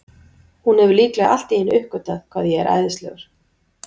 Hún hefur líklega allt í einu uppgötvað hvað ég er æðislegur.